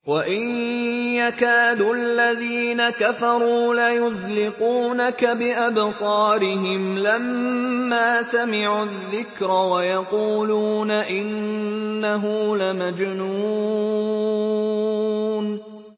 وَإِن يَكَادُ الَّذِينَ كَفَرُوا لَيُزْلِقُونَكَ بِأَبْصَارِهِمْ لَمَّا سَمِعُوا الذِّكْرَ وَيَقُولُونَ إِنَّهُ لَمَجْنُونٌ